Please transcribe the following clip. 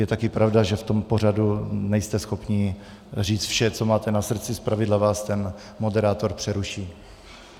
Je taky pravda, že v tom pořadu nejste schopní říct vše, co máte na srdci, zpravidla vás ten moderátor přeruší.